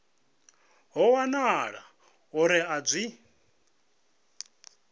ho wanala uri a zwi